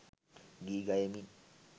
ගී ගයමින්